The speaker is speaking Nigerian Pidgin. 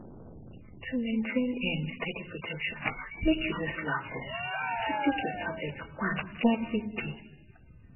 to maintain um steady protection make you no slack um to take your tablet one everyday